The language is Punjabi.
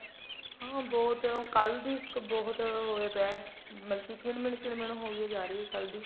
ਹਾਂ ਬਹੁਤ ਕੱਲ ਦੀ ਇੱਕ ਬਹੁਤ ਹੋਇਆ ਪਇਆ ਹੈ ਮਤਲਬ ਕੀ ਕਿਨ ਮਿਨ ਕਿਨ ਮਿਨ ਹੋਈ ਹੋ ਜਾ ਰਹੀ ਹੈ ਕੱਲ ਦੀ